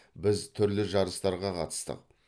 біз түрлі жарыстарға қатыстық